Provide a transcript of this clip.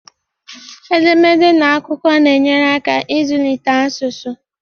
Edemede na akụkọ na-enyere aka ịzụlite asụsụ